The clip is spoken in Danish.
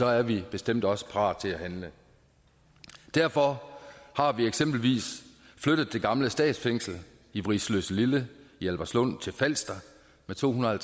er vi bestemt også parate til at handle derfor har vi eksempelvis flyttet det gamle statsfængsel i vridsløselille i albertslund til falster med to hundrede og